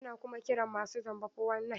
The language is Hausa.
Ana kuma kiran masu zamba fo-wan-nayin (419).